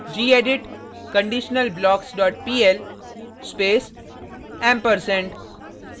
gedit conditionalblocks dot pl space &ampersand